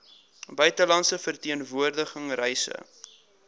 buitelandse verteenwoordiging reise